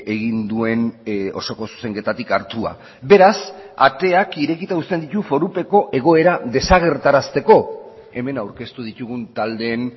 egin duen osoko zuzenketatik hartua beraz ateak irekita uzten ditu forupeko egoera desagertarazteko hemen aurkeztu ditugun taldeen